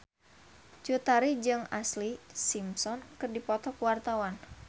Cut Tari jeung Ashlee Simpson keur dipoto ku wartawan